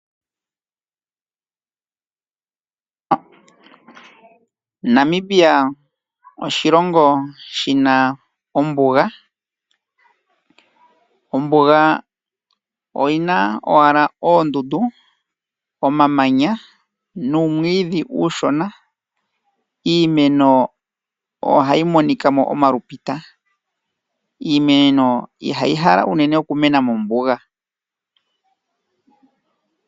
Namibia oshilongo shina ombuga. Ombuga oyina owala oondundu, omamanya nuumwiidhi uushona. Iimeno ohayi monikamo omalupita. Iimeno ihayi hala unene okumena mombuga.